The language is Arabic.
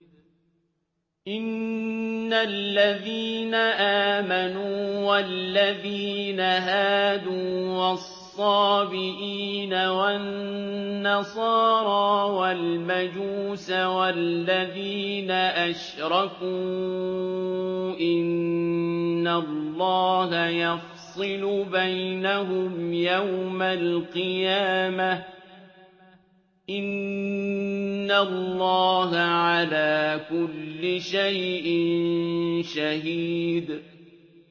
إِنَّ الَّذِينَ آمَنُوا وَالَّذِينَ هَادُوا وَالصَّابِئِينَ وَالنَّصَارَىٰ وَالْمَجُوسَ وَالَّذِينَ أَشْرَكُوا إِنَّ اللَّهَ يَفْصِلُ بَيْنَهُمْ يَوْمَ الْقِيَامَةِ ۚ إِنَّ اللَّهَ عَلَىٰ كُلِّ شَيْءٍ شَهِيدٌ